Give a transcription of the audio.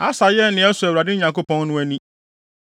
Asa yɛɛ nea ɛsɔ Awurade, ne Nyankopɔn no, ani.